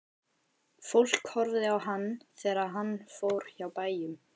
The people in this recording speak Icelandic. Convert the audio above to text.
Fólk horfði á hann þegar hann fór hjá bæjum.